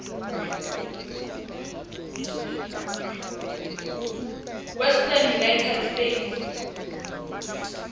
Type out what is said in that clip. western united states